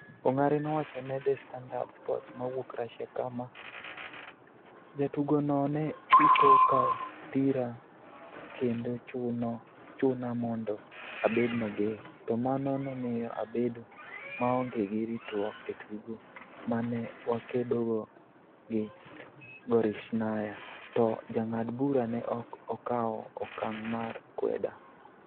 Ongare nowacho ne The Standard Sports mawuok Russia kama, "Jatugono ne siko ka dhira kendo chuna mondo abed mager, to mano nomiyo abedo maonge gi ritruok e tugo ma ne wakedogo gi Gorishnaya, to jang'ad bura ne ok okawo okang ' mar kweda.